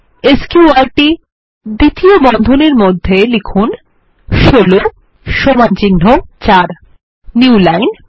স্ক্যুর্ট দ্বিতীয় বন্ধনীর মধ্যে লিখুন 16 সমান চিহ্ন ৪ নিউ লাইন